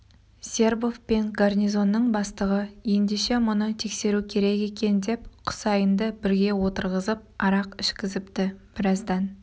сербов пен гарнизонның бастығы ендеше мұны тексеру керек екен деп құсайынды бірге отырғызып арақ ішкізіпті біраздан